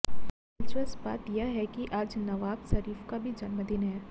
दिलचस्प बात यह है कि आज नवाज़ शरीफ का भी जन्मदिन है